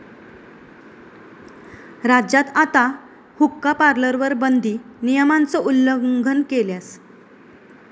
राज्यात आता हुक्का पार्लरवर बंदी, नियमांचं उल्लंघन केल्यास...